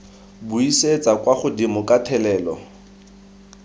buisetsa kwa godimo ka thelelo